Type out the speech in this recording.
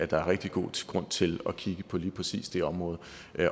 der er rigtig god grund til at kigge på lige præcis det område